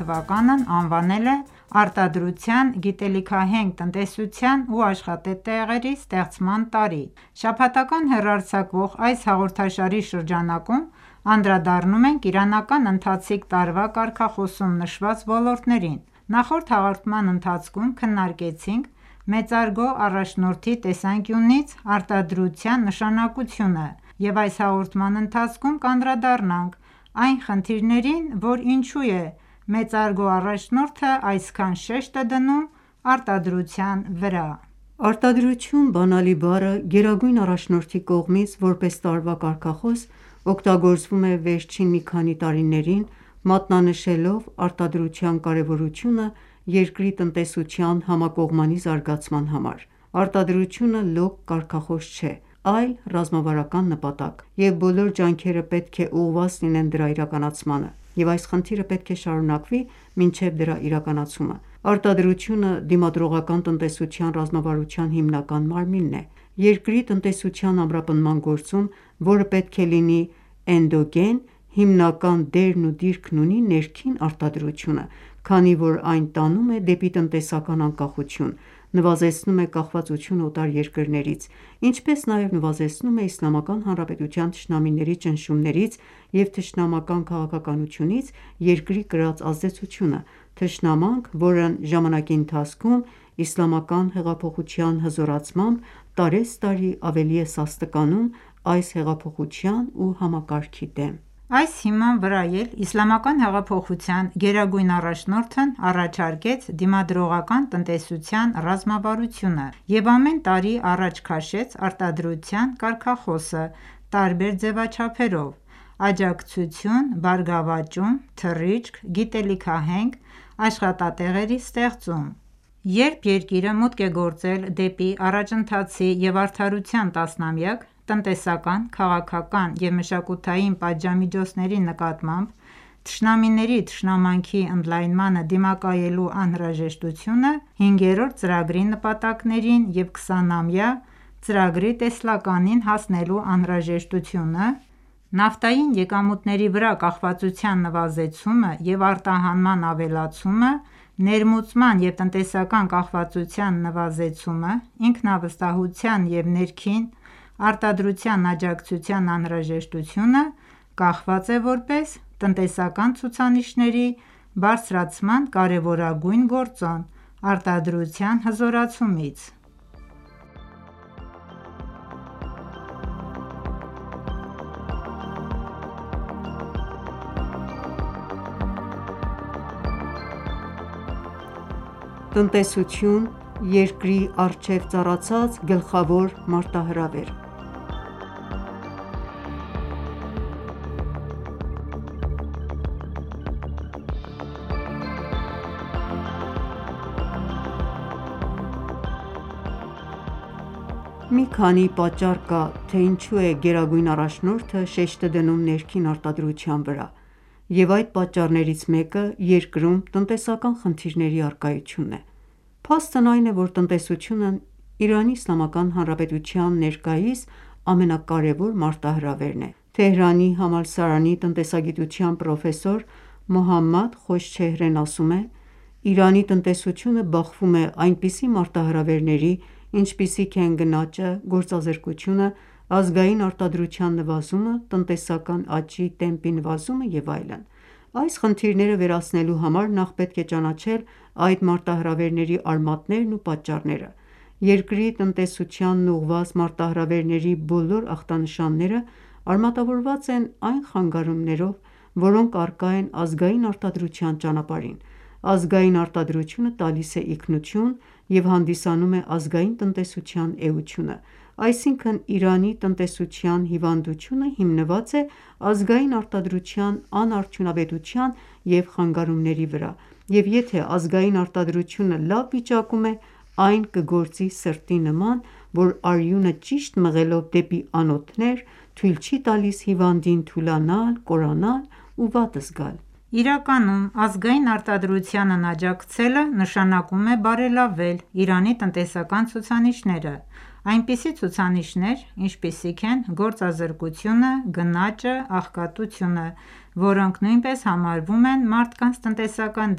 թվականն անվանել է «Արտադրության, գիտելիքահենք տնտեսության ու աշխատատեղերի ստեղծման տարի»:Շաբաթական հեռարձակվող այս հաղորդաշարի շրջանակում անդրադառնում ենք իրանական ընթացիկ տարվա կարգախոսում նշված ոլորտներին: Նախորդ հաղորդման ընթացքում քննարկեցինք մեծարգո առաջնորդի տեսանկյունից արտադրության նշանակությունը և այս հաղորդման ընթացքում կանդրադառնանք այն խնդրին որ ինչու է մեծարգո առաջնորդը այսքան շեշտը դնում արտադրության վրա: «Արտադրություն» բանալի բառը Գերագույն առաջնորդի կողմից որպես տարվա կարգախոս օգտագործվում է վերջին մի քանի տարիներին՝ մատնանշելով արտադրության կարևորությունը երկրի տնտեսության համակողմանի զարգացման համար։ Արտադրությունը լոկ կարգախոս չէ, այլ ռազմավարական նպատակ, և բոլոր ջանքերը պետք է ուղղված լինեն դրա իրականացմանը, և այս խնդիրը պետք է շարունակվի մինչև դրա իրականացումը։ Արտադրությունը դիմադրողական տնտեսության ռազմավարության հիմնական մարմինն է։ Երկրի տնտեսության ամրապնդման գործում, որը պետք է լինի էնդոգեն, հիմնական դերն ու դիրքն ունի ներքին արտադրությունը, քանի որ այն տանում է դեպի տնտեսական անկախություն, նվազեցնում է կախվածությունը օտար երկրներից, ինչպես նաև նվազեցնում է Իսլամական Հանրապետության թշնամիների ճնշումներից և թշնամական քաղաքականությունից երկրի կրած ազդեցությունը։ Թշնամանք, որն ժամանակի ընթացքում Իսլամական հեղափոխության հզորացմամբ տարեցտարի ավելի է սաստկանում այս հեղափոխության ու համակարգի դեմ: Այս հիման վրա էլ Իսլամական հեղափոխության գերագույն առաջնորդն առաջարկեց դիմադրողական տնտեսության ռազմավարությունը և ամեն տարի առաջ քաշեց արտադրության կարգախոսը տարբեր ձևաչափերով՝ աջակցություն, բարգավաճում, թռիչք, գիտելիքահենք, աշխատատեղերի ստեղծում: Երբ երկիրը մուտք է գործել դեպի առաջընթացի և արդարության տասնամյակ, տնտեսական, քաղաքական և մշակութային պատժամիջոցների նկատմամբ թշնամիների թշնամանքի ընդլայնմանը դիմակայելու անհրաժեշտությունը, հինգերորդ ծրագրի նպատակներին և 20-ամյա ծրագրի տեսլականին հասնելու անհրաժեշտությունը, Նավթային եկամուտների վրա կախվածության նվազեցումը և արտահանման ավելացումը, ներմուծման և տնտեսական կախվածության նվազեցումը, ինքնավստահության և ներքին արտադրության աջակցության անհրաժեշտությունը, կախված է որպես տնտեսական ցուցանիշների բարձրացման կարևորագույն գործոն՝ արտադրության հզորացումից՝: Տնտեսություն՝ Երկրի առջեւ ծառացած գլխավոր մարտահրավերը Մի քանի պատճառ կա, թե ինչու է Գերագույն առաջնորդը շեշտը դնում ներքին արտադրության վրա, և այդ պատճառներից մեկը երկրում տնտեսական խնդիրների առկայությունն է։ Փաստն այն է, որ տնտեսությունն ԻԻՀ-ի ներկայիս ամենակարեւոր մարտահրավերն է։ Թեհրանի համալսարանի տնտեսագիտության պրոֆեսոր Մոհամմադ Խոշչեհրեն ասում է. «Իրանի տնտեսությունը բախվում է այնպիսի մարտահրավերների, ինչպիսիք են գնաճը, գործազրկությունը, ազգային արտադրության նվազումը, տնտեսական աճի տեմպի նվազումը և այլն: Այս խնդիրները վերացնելու համար նախ պետք է ճանաչել այդ մարտահրավերների արմատներն ու պատճառները: Երկրի տնտեսությանն ուղղված մարտահրավերների բոլոր ախտանշանները արմատավորված են այն խանգարումներով, որոնք առկա են ազգային արտադրության ճանապարհին։ Ազգային արտադրությունը տալիս է ինքնություն և հանդիսանում է ազգային տնտեսության էությունը: Այսինքն՝ Իրանի տնտեսության հիվանդությունը հիմնված է ազգային արտադրության անարդյունավետության և խանգարումների վրա, և եթե ազգային արտադրությունը լավ վիճակում է, այն կգործի սրտի նման, որ արյունը ճիշտ մղելով դեպի անոթներ թույլ չի տալիս հիվանդին թուլանալ, կորանալ ու վատ զգալ: Իրականում ազգային արտադրությանն աջակցելը նշանակում է բարելավել Իրանի տնտեսական ցուցանիշները, այնպիսի ցուցանիշներ, ինչպիսիք են գործազրկությունը, գնաճը, աղքատությունը, որոնք նույնպես համարվում են մարդկանց տնտեսական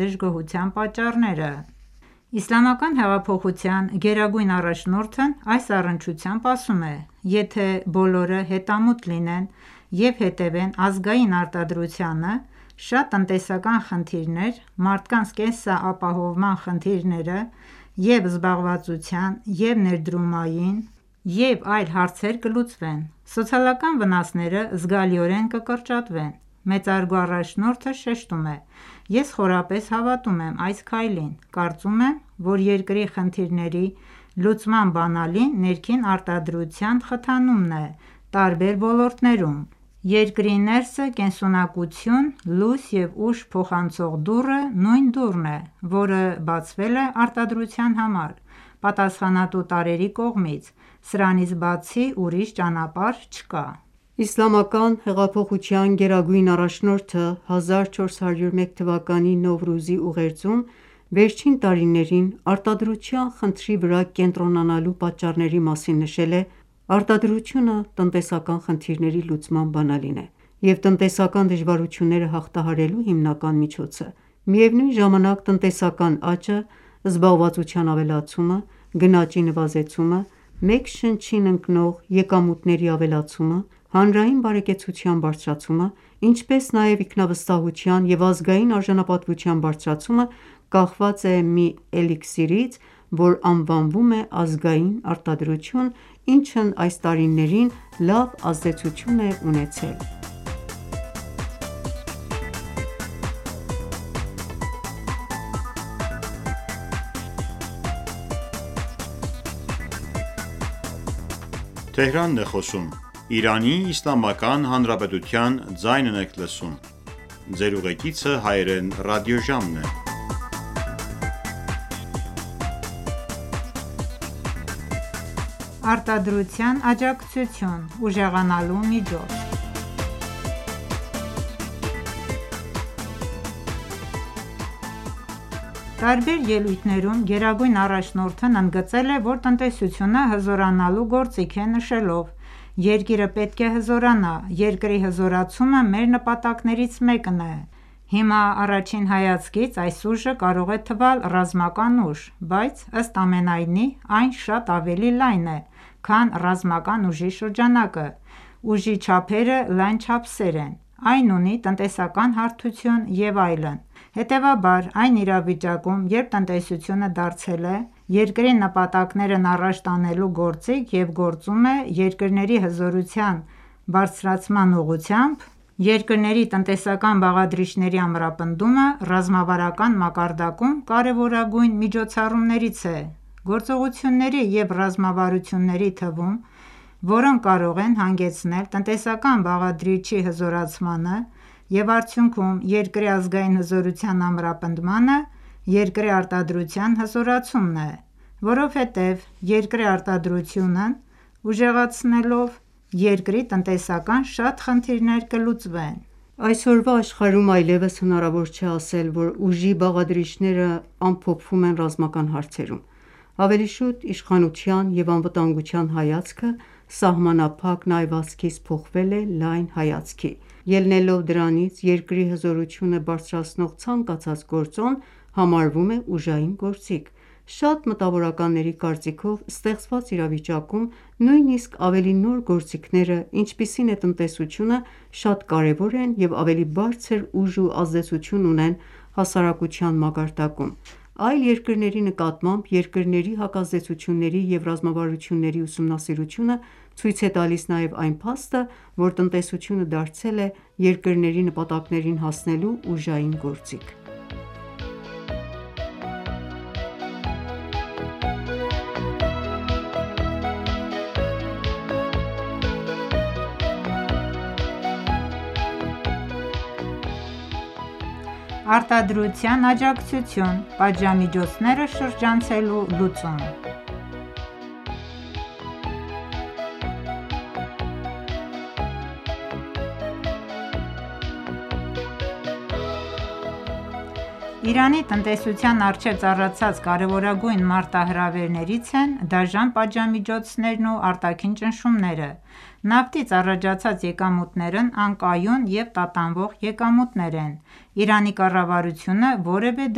դժգոհության պատճառները։ Իսլամական հեղափոխության գերագույն առաջնորդն այս առնչությամբ ասում է.« «Եթե բոլորը հետամուտ լինեն և հետևեն ազգային արտադրությանը, շատ տնտեսական խնդիրներ, մարդկանց կենսապահովման խնդիրները՝ և՛ զբաղվածության, և՛ ներդրումային, և՛ այլ հարցեր կլուծվեն։ Սոցիալական վնասները զգալիորեն կկրճատվեն»: Մեծարգո առաջնորդը շեշտում է.« Ես խորապես հավատում եմ այս քայլին: Կարծում եմ, որ երկրի խնդիրների լուծման բանալին ներքին արտադրության խթանումն է տարբեր ոլորտներում... Երկրի ներսը կենսունակություն, լույս և ուժ փոխանցող դուռը նույն դուռն է, որը բացվել է արտադրության համար պատասխանատու տարրերի կողմից: Սրանից բացի ուրիշ ճանապարհ չկա»: Իսլամական հեղափոխության գերագույն առաջնորդը 1401 թվականի Նովրուզի ուղերձում վերջին տարիներին արտադրության խնդրի վրա կենտրոնանալու պատճառների մասին նշել է.«Արտադրությունը տնտեսական խնդիրների լուծման բանալին է և տնտեսական դժվարությունները հաղթահարելու հիմնական միջոցը: Միևնույն ժամանակ՝ տնտեսական աճը, զբաղվածության ավելացումը, գնաճի նվազեցումը, մեկ շնչին ընկնող եկամուտների ավելացումը, հանրային բարեկեցության բարձրացումը, ինչպես նաև ինքնավստահության և ազգային արժանապատվության բարձրացումը կախված է մի էլիքսիրից, որ անվանվում է ազգային արտադրություն, ինչն այս տարիներին լավ ազդեցություն է ունեցել: Արտադրության աջակցություն՝ ուժեղանալու միջոց Տարբեր ելույթներում գերագույն առաջնորդն ընդգծել է, որ տնտեսությունը հզորանալու գործիք է, նշելով.«Երկիրը պետք է հզորանա: Երկրի հզորացումը մեր նպատակներից մեկն է... Հիմա, առաջին հայացքից, այս ուժը կարող է թվալ ռազմական ուժ, բայց, ըստ ամենայնի, այն շատ ավելի լայն է, քան ռազմական ուժի շրջանակը։ Ուժի չափերը լայն չափսեր են: Այն ունի Տնտեսական հարթություն և այլն»։ Հետևաբար, այն իրավիճակում, երբ տնտեսությունը դարձել է երկրների նպատակներն առաջ տանելու գործիք և գործում է երկրների հզորության բարձրացման ուղղությամբ, երկրների տնտեսական բաղադրիչների ամրապնդումը ռազմավարական մակարդակում կարևորագույն միջոցառումներից է։ Գործողությունների և ռազմավարությունների թվում, որոնք կարող են հանգեցնել տնտեսական բաղադրիչի հզորացմանը և արդյունքում երկրի ազգային հզորության ամրապնդմանը, երկրի արտադրության հզորացումն է։ Որովհետեւ երկրի արտադրությունն ուժեղացնելով՝ երկրի տնտեսական շատ խնդիրներ կլուծվեն։ Այսօրվա աշխարհում այլեւս հնարավոր չէ ասել, որ ուժի բաղադրիչներն ամփոփվում են ռազմական հարցերում, ավելի շուտ, իշխանության և անվտանգության հայացքը սահմանափակ նայվածքից փոխվել է լայն հայացքի։ Ելնելով դրանից՝ երկրի հզորությունը բարձրացնող ցանկացած գործոն համարվում է ուժային գործիք։ Շատ մտավորականների կարծիքով՝ ստեղծված իրավիճակում նույնիսկ ավելի նոր գործիքները, ինչպիսին է տնտեսությունը, շատ կարևոր են և ավելի բարձր ուժ ու ազդեցություն ունեն հասարակության մակարդակում։ Այլ երկրների նկատմամբ երկրների հակազդեցությունների և ռազմավարությունների ուսումնասիրությունը ցույց է տալիս նաև այն փաստը, որ տնտեսությունը դարձել է երկրների նպատակներին հասնելու ուժային գործիք։ Արտադրության աջակցություն՝ պատժամիջոցները շրջանցելու լուծում Իրանի տնտեսության առջեւ ծառացած կարեւորագույն մարտահրավերներից են դաժան պատժամիջոցներն ու արտաքին ճնշումները։ Նավթից առաջացած եկամուտներն անկայուն և տատանվող եկամուտներ են: Իրանի կառավարությունը որևէ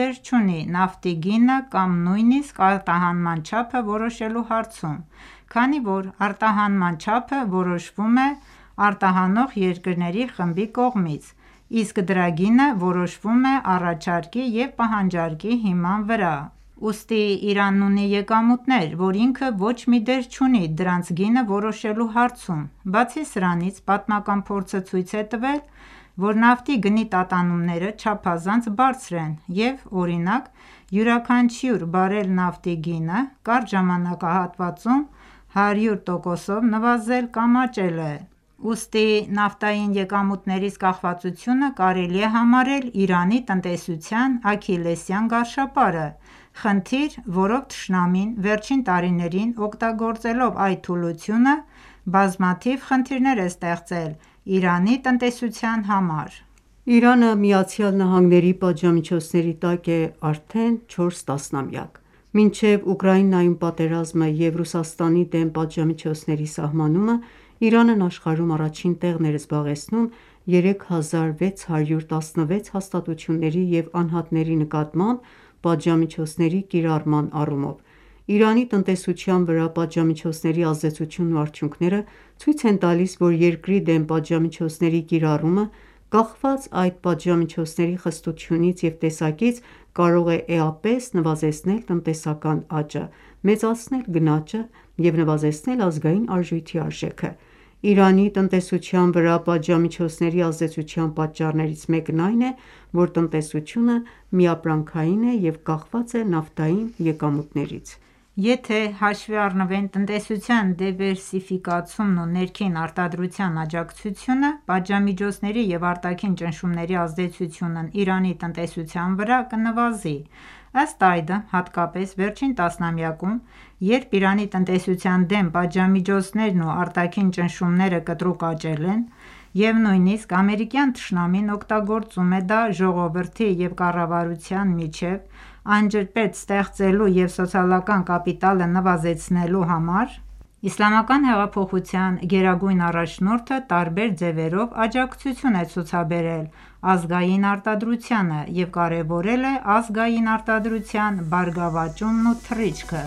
դեր չունի նավթի գինը կամ նույնիսկ արտահանման չափը որոշելու հարցում, քանի որ արտահանման չափը որոշվում է արտահանող երկրների խմբի կողմից, իսկ դրա գինը որոշվում է առաջարկի և պահանջարկի հիման վրա: Ուստի Իրանն ունի եկամուտներ, որ ինքը ոչ մի դեր չունի դրանց գինը որոշելու հարցում։ Բացի սրանից, պատմական փորձը ցույց է տվել, որ նավթի գնի տատանումները չափազանց բարձր են, և, օրինակ, յուրաքանչյուր բարել նավթի գինը կարճ ժամանակահատվածում 100%-ով նվազել կամ աճել է։ Ուստի նավթային եկամուտներից կախվածությունը կարելի է համարել Իրանի տնտեսության աքիլլեսյան գարշապարը, խնդիր, որով թշնամին վերջին տարիներին օգտագործելով այդ թուլությունը, բազմաթիվ խնդիրներ է ստեղծել Իրանի տնտեսության համար։ Իրանը ԱՄՆ պատժամիջոցների տակ է արդեն 4 տասնամյակ։ Մինչև Ուկրաինայում պատերազմը և Ռուսաստանի դեմ պատժամիջոցների սահմանումը, Իրանն աշխարհում առաջին տեղն էր զբաղեցնում՝ 3616 հաստատությունների և անհատների նկատմամբ պատժամիջոցների կիրառման առումով: Իրանի տնտեսության վրա պատժամիջոցների ազդեցությունն ու արդյունքները ցույց են տալիս, որ երկրի դեմ պատժամիջոցների կիրառումը, կախված այդ պատժամիջոցների խստությունից և տեսակից, կարող է էապես նվազեցնել տնտեսական աճը, մեծացնել գնաճը և նվազեցնել ազգային արժույթի արժեքը: Իրանի տնտեսության վրա պատժամիջոցների ազդեցության պատճառներից մեկն այն է, որ տնտեսությունը միապրանքային է և կախված է նավթային եկամուտներից։ Եթե ​​հաշվի առնվեն տնտեսության դիվերսիֆիկացումն ու ներքին արտադրության աջակցությունը, պատժամիջոցների և արտաքին ճնշումների ազդեցությունն Իրանի տնտեսության վրա կնվազի։ Ըստ այդմ,, հատկապես վերջին տասնամյակում, երբ Իրանի տնտեսության դեմ պատժամիջոցներն ու արտաքին ճնշումները կտրուկ աճել են, և նույնիսկ ամերիկյան թշնամին օգտագործում է դա ժողովրդի և կառավարության միջև անջրպետ ստեղծելու և սոցիալական կապիտալը նվազեցնելու համար, Իսլամական հեղափոխության գերագույն առաջնորդը տարբեր ձևերով աջակցություն է ցուցաբերել ազգային արտադրությանը և կարևորել է ազգային արտադրության բարգավաճումն ու թռիչքը։